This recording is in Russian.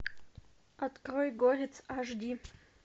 открой горец аш ди